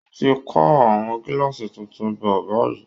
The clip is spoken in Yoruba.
Wọ́n ti ń kó àwọn gíláàsì tuntun bọ̀ báyìí